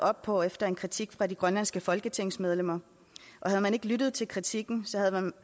op på efter en kritik fra de grønlandske folketingsmedlemmer havde man ikke lyttet til kritikken